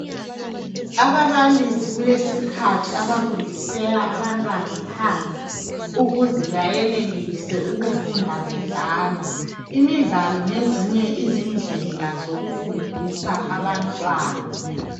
Ababalisi kulesikhathi abafundisela abantwana phandle, ukuze bayenelise ukufunda bedlala, imidlalo ngezinye izindlela zokufundisa abantwana.